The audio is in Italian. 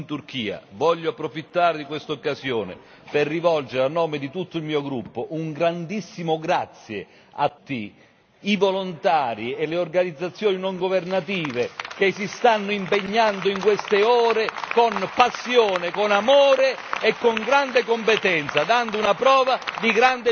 Voglio approfittare di quest'occasione per rivolgere a nome di tutto il mio gruppo un grandissimo grazie a tutti i volontari e le organizzazioni non governative che si stanno impegnando in queste ore con passione, con amore e con grande competenza, dando una prova di grande generosità.